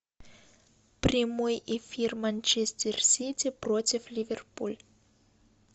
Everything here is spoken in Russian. прямой эфир манчестер сити против ливерпуль